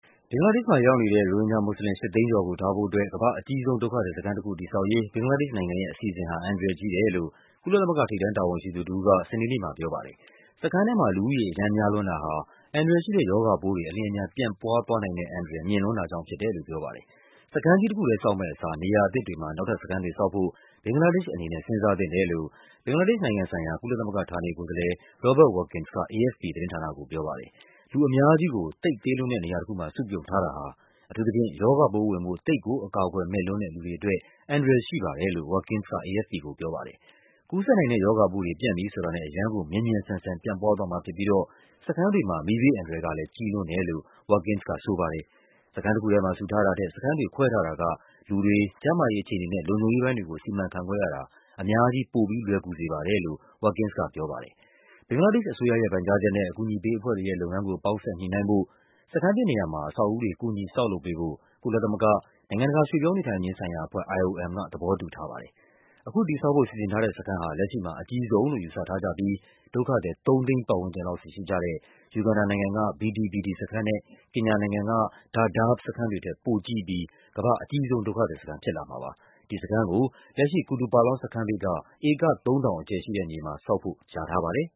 ဘင်္ဂလားဒေ့ရှ်မှာရောက်နေတဲ့ ရိုဟင်ဂျာမွတ်ဆလင် ၈၀၀,၀၀၀ ကျော်ကို ထားဖို့အတွက် ကမ္ဘာ့အကြီးဆုံး ဒုက္ခသည်စခန်း တည်ဆောက်ရေး ဘင်္ဂလားဒေ့ရှ်နိုင်ငံရဲ့ အစီအစဉ်ဟာ အန္တရာယ်ကြီးတယ်လို့ ကုလသမဂ္ဂ ထိပ်တန်းတာဝန်ရှိသူတဦးက စနေနေ့မှာပြော ပါတယ်။ စခန်းထဲမှာ လူဦးရေ အရမ်းများလွန်းတာဟာ အန္တရာယ်ရှိတဲ့ရောဂါပိုးတွေ အလျင်အမြန် ပြန့်ပွား သွားနိုင်တဲ့အန္တရာယ် မြင့်လွန်းတာကြောင့်ဖြစ်တယ်လို့ ပြောပါတယ်။ စခန်းကြီးတခုထဲဆောက်မယ့်အစား နေရာအသစ်တွေမှာ နောက်ထပ်စခန်းတွေ ဆောက်ဖို့ ဘင်္ဂလားဒေ့ရှ်အနေနဲ့ စဉ်းစားသင့် တယ်လို့ ဘင်္ဂလားဒေ့ရှ်နိုင်ငံဆိုင်ရာ ကုလသမဂ္ဂဌာနေကိုယ်စားလှယ် Robert Watkins က AFP သတင်းဌာနကိုပြောတာပါ။ လူအများကြီးကို သိပ်သေးလွန်းတဲ့နေရာတခုမှာ စုပြုံထားတာဟာ၊ အထူးသဖြင့် ရောဂါပိုး ဝင်ဖို့ သိပ်ကို အကာအကွယ်မဲ့လွန်းတဲ့ လူတွေအတွက်၊ အန္တရာယ်ရှိပါတယ်လို့ Watkins က AFP ကိုပြောပါတယ်။ ကူးစက်နိုင်တဲ့ရောဂါပိုးတွေ ပြန့်ပြီဆိုတာနဲ့ အရမ်းကို မြန်မြန်ဆန်ဆန် ပြန့်ပွားသွားမှာ ဖြစ်ပြီးတော့ စခန်းတွေမှာ မီးဘေးအန္တရာယ် ကလဲ ကြီးလွန်းတယ်လို့ Watkins က ဆိုပါတယ်။ စခန်းတခုထဲမှာ စုထားတာထက် စခန်းတွေခွဲထားတာက လူတွေ၊ ကျန်းမာရေး အခြေအနေ နဲ့ လုံခြုံရေးပိုင်းတွေကို စီမံခန့်ခွဲရတာ အများကြီး ပိုပြီးလွယ်ကူစေ ပါတယ်လို့ Watkins ကပြောပါတယ်။ ဘင်္ဂလားဒေ့ရှ်အစိုးရရဲ့ ပန်ကြားချက်နဲ့ အကူအညီပေးအဖွဲ့တွေရဲ့ လုပ်ငန်းကို ပေါင်းစပ် ညှိနှိုင်းဖို့၊ စခန်းသစ်နေရာမှာ အဆောက် အဦးတွေ ကူညီဆောက်လုပ်ပေးဖို့ ကုလသမဂ္ဂ၊ နိုင်ငံတကာ ရွှေ့ပြောင်းနေထိုင်ခြင်းဆိုင်ရာအဖွဲ့ IOM က သဘောတူထားပါ တယ်။ အခုတည်ဆောက်ဖို့ စီစဉ်ထားတဲ့စခန်းဟာ လက်ရှိမှာ အကြီးဆုံးလို့ယူဆထားကြပြီး ဒုက္ခသည် ၃၀၀,၀၀၀ ပတ်ဝန်းကျင်လောက် စီရှိကြတဲ့ ယူဂန်ဒါနိုင်ငံက Bidi Bidi စခန်းနဲ့ ကင်ညာနိုင်ငံက Dadaab စခန်းတွေထက် ပိုကြီးပြီး ကမ္ဘာ့အကြီးဆုံးဒုက္ခသည်စခန်း ဖြစ်လာမှာပါ။ ဒီစခန်းကို လက်ရှိ Kutupalong စခန်းဘေးက ဧက ၃,၀၀၀ အကျယ်ရှိတဲ့မြေမှာ ဆောက်ဖို့ လျာထား ပါတယ်